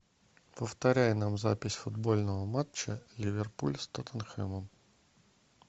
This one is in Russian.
повторяй нам запись футбольного матча ливерпуль с тоттенхэмом